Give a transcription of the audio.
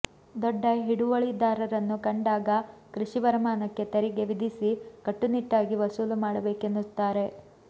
ದೊಡ್ಡ ಹಿಡುವಳಿದಾರರನ್ನು ಕಂಡಾಗ ಕೃಷಿ ವರಮಾನಕ್ಕೆ ತೆರಿಗೆ ವಿಧಿಸಿ ಕಟ್ಟುನಿಟ್ಟಾಗಿ ವಸೂಲು ಮಾಡಬೇಕೆನ್ನುತ್ತಾರೆ